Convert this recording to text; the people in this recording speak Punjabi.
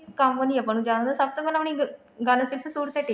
ਕੰਮ ਨੀ ਆਪਾਂ ਨੂੰ ਜਾਣਦਾ ਸਭ ਤੋਂ ਪਹਿਲਾਂ ਆਪਣੀ ਗੱਲ ਕਿਸ suit ਤੇ